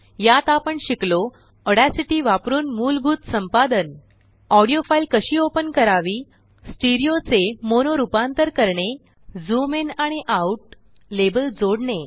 यात आपण शिकलोऑड्यासिटी वापरूनमुलभूत संपादन ऑडीओ फाईल कशी ओपन करावी स्टिरीओ चे मोनो रुपांतर करणे झूम इन आणि आउट लेबल जोडणे